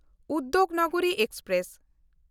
Udyognagri express